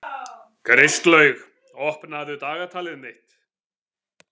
Kristlaug, opnaðu dagatalið mitt.